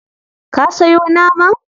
Ka sayo naman?